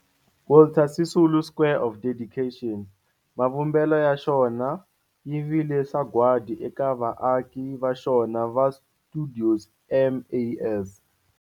Walter Sisulu Square of Dedication, mavumbelo ya xona yi vile sagwadi eka vaaki va xona va stuidio MAS.